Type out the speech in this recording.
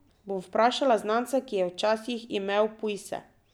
Bom vprašala znanca, ki je včasih imel pujse.